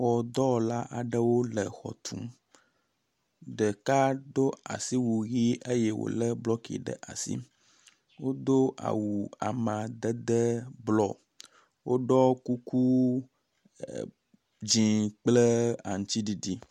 Xɔdɔwɔla aɖewo le xɔ tum. Ɖeka do asiwu ʋi eye wo le blɔki ɖe asi. Wodo awu amadede blɔ. Woɖɔ kuku e edzi kple aŋtsiɖiɖi.